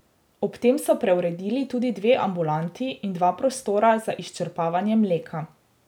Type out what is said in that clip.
Ob tem so preuredili tudi dve ambulanti in dva prostora za izčrpavanje mleka.